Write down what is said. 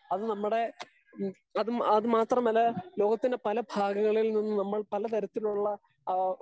speaker 2 അത് നമ്മടെ ഹമ് അത് അത് മാത്രമല്ല ലോകത്തിന്റെ പല താളുകളിൽ നിന്ന് പാല തരത്തിലുള്ള